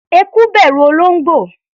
Eku bẹ̀rù olóńgbò.